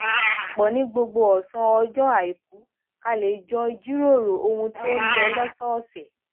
pò ní gbogbo òsán ọjọ aiku ká lè jọ jíròrò ohun tó ń lọ lósòòsè